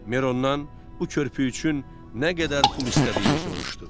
Mer ondan bu körpü üçün nə qədər pul istədiyini soruşdu.